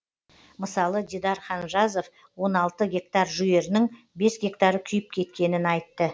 мысалы дидар ханжазов он алты гектар жүгерінің бес гектары күйіп кеткенін айтты